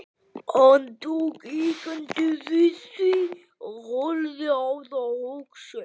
Hann tók hikandi við því og horfði á það hugsi.